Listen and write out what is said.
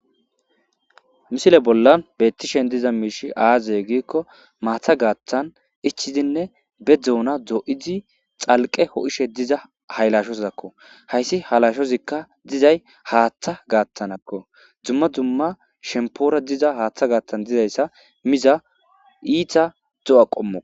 Misile bollan bettishen diza miish aaze giikko maatha gaattan ichidinne be dzuona do'izi xalqe ho'ishe diza haylashozakko hayssi halashozikka dizay haaththa gaattanakko dumma dumma shempoora diza haaththa gaattan dizayssa miza iita zo'a qommo.